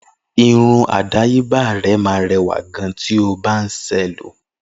Irun àdáyébá rè ma rẹwà gan tí ọ bá nṣe lọ